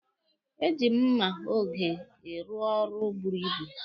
E ji m mma oge rụọ ọrụ buru ibu.